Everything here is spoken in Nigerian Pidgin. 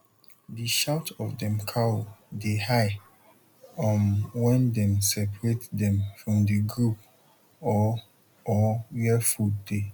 the shout of dem cow de high um wen dem separate dem from the group or or where food dey